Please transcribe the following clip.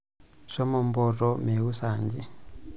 Shomo mpoto meeu saanji.